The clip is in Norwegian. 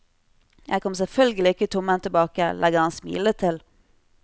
Jeg kom selvfølgelig ikke tomhendt tilbake, legger han smilende til.